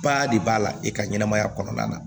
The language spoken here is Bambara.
Ba de b'a la i ka ɲɛnɛmaya kɔnɔna na